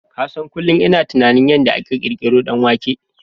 Ka san kunlun ina tunanin yanda aka ƙirƙiron danwanke